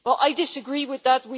Well, I disagree with that.